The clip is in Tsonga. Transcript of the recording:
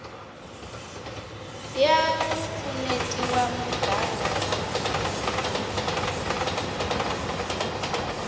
ya vupfuneti va muganga wa